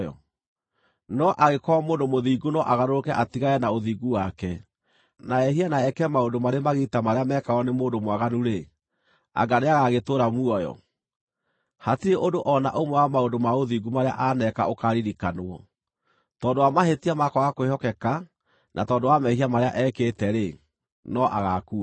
“No angĩkorwo mũndũ mũthingu no agarũrũke atigane na ũthingu wake, na ehie na eke maũndũ marĩ magigi ta marĩa mekagwo nĩ mũndũ mwaganu-rĩ, anga nĩagagĩtũũra muoyo? Hatirĩ ũndũ o na ũmwe wa maũndũ ma ũthingu marĩa aaneka ũkaaririkanwo. Tondũ wa mahĩtia ma kwaga kwĩhokeka na tondũ wa mehia marĩa ekĩte-rĩ, no agaakua.